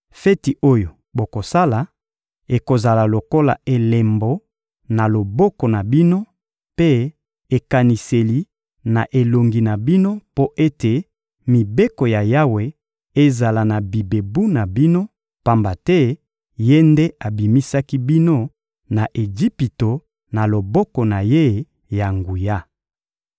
Feti oyo bokosala ekozala lokola elembo na loboko na bino mpe ekaniseli na elongi na bino mpo ete mibeko ya Yawe ezala na bibebu na bino, pamba te Ye nde abimisaki bino na Ejipito na loboko na Ye ya nguya.